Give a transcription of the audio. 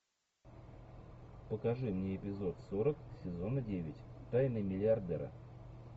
покажи мне эпизод сорок сезона девять тайны миллиардера